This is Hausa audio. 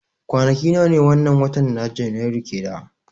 Kwanaki nawa ne wannan watan na janairu ke da